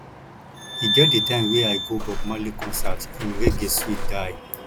e get di time wey i go bob marley concert im reggae dey sweet die